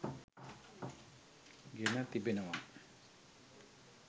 ගෙන තිබෙනවා.